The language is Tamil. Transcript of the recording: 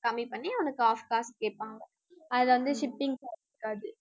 கம்மி பண்ணி உனக்கு half காசு கேப்பாங்க. அதுல வந்து shipping charge இருக்காது